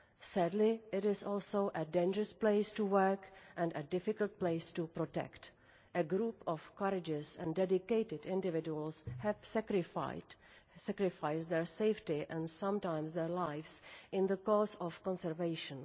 Sadly, it is also a dangerous place to work and a difficult place to protect. A group of courageous and dedicated individuals have sacrificed their safety and sometimes their lives in the cause of conservation.